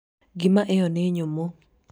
ngima ĩyo nĩ nyũmũ